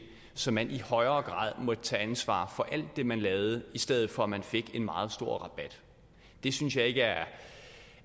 så man i højere grad måtte tage ansvar for alt det man lavede i stedet for at man fik en meget stor rabat det synes jeg ikke er